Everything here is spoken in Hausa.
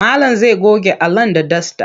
Malam zai goge Alan da dasta.